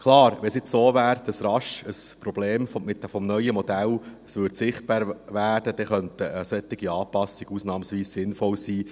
Klar, wenn es so wäre, dass rasch ein Problem des neuen Modells sichtbar werden würde, könnten solche Anpassungen ausnahmsweise sinnvoll sein.